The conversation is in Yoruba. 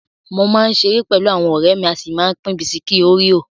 Mo máa ń ṣeré pẹlú àwọn ọ̀rẹ́ mi, a sì máa ń pín bisikí óríò.